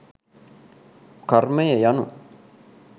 කර්මය යනු